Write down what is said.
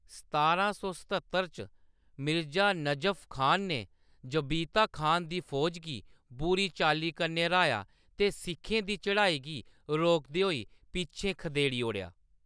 सतारां सौ सत्हत्तर च मिर्जा नजफ खान ने जबीता खान दी फौजा गी बुरी चाल्ली कन्नै र्‌हाएआ ते सिखें दी चढ़ाई गी रोकदे होई पिच्छें खदेड़ी ओड़ेआ।